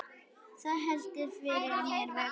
Það heldur fyrir mér vöku.